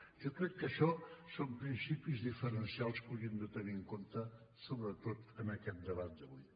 jo crec que això són principis diferencials que hauríem de tenir en compte sobretot en aquest debat d’avui